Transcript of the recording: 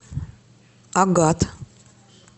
агат